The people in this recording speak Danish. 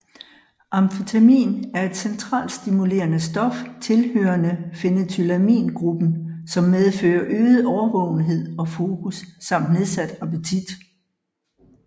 Amfetamin er et centralstimulerende stof tilhørende phenethylamingruppen som medfører øget årvågenhed og fokus samt nedsat appetit